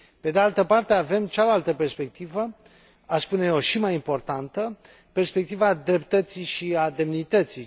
Pe de altă parte, avem cealaltă perspectivă, aș spune eu și mai importantă, perspectiva dreptății și a demnității.